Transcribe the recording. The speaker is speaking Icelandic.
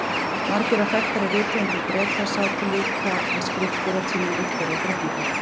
Margir af þekktari rithöfundum Breta sátu líka við skriftir á tímum Viktoríu drottningar.